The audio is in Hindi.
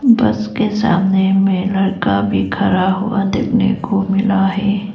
बस के सामने में लड़का भी खड़ा हुआ देखने को मिला है।